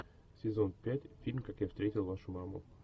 сезон пять фильм как я встретил вашу маму